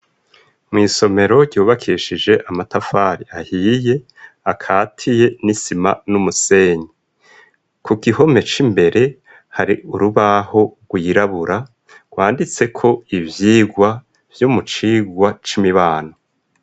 Mw'isomero, ryubakishije amatafari ahiye, akatiye n'isima, n'umusenyi; ku gihome c'imbere, hari urubaho, rwirabura, rwanditseko ivyigwa, vyo mu cigwa c'imibano.